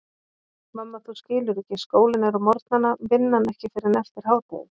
Mamma þú skilur ekki, skólinn er á morgnana, vinnan ekki fyrr en eftir hádegið.